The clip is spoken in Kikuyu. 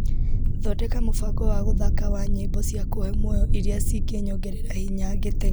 Thondeka mũbango wa gũthaka wa nyĩmbo cia kũhe muoyo iria cingĩnyongerera hinya ngĩteng'era na ndĩcithake.